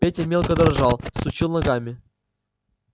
петя мелко дрожал сучил ногами